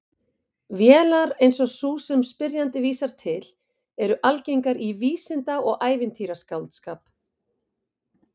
Vélar eins og sú sem spyrjandi vísar til eru algengar í vísinda- og ævintýraskáldskap.